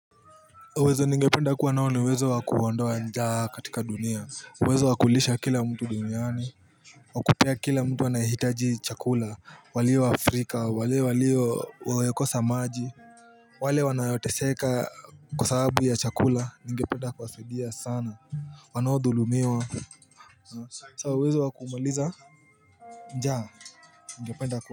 Uwezo ningependa kuwa nao niuwezo wakuondoa njaa katika dunia uwezo wakulisha kila mtu duniani Wakupea kila mtu anayehitaji chakula walio Afrika wale walio wamekosa maji wale wanayoteseka kwa sababu ya chakula ningependa kuwasaidia sana Wanaodhulumiwa saa uwezo wakumaliza njaa Ningependa ku.